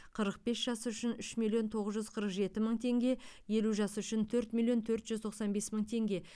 қырық бес жас үшін үш миллион тоғыз жүз қырық жеті мың теңге елу жас үшін төрт миллион төрт жүз тоқсан бес мың теңге